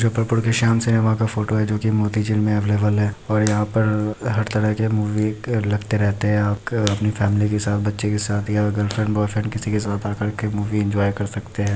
जो श्याम का फोटो है जो की अवैलबल है और यहाँ पर हर तरह के मूवी लगते रहते है और अपनी फॅमिली के साथ बच्चे के साथ या गर्लफ्रेंड बॉयफ्रेंड किसी के साथ आकर के मूवी इन्जॉय कर सकते है।